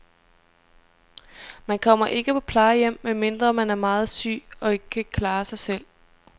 Man kommer ikke på plejehjem, medmindre man er meget syg og ikke kan klare sig selv.